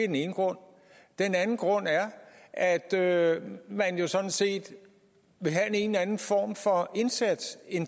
den ene grund den anden grund er at at man jo sådan set vil have en anden form for indsats end